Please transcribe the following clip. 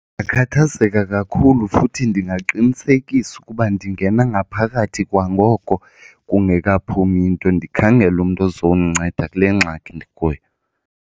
Ndingakhathazeka kakhulu futhi ndingaqinisekisa ukuba ndingena ngaphakathi kwangoko kungekaphumi nto ndikhangele umntu ozomnceda kule ngxaki ndikuyo.